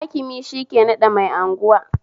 Hakimi shike naɗa mai anguwa